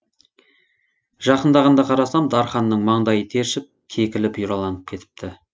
жақындағанда қарасам дарханның маңдайы тершіп кекілі бұйраланып кетіпті